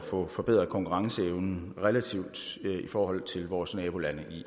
få forbedret konkurrenceevnen relativt i forhold til vores nabolande